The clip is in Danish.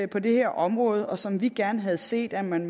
på det her område som vi gerne havde set at man